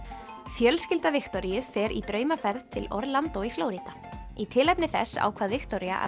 fjölskylda Viktoríu fer í draumaferð til í Flórída í tilefni þess ákvað Viktoría að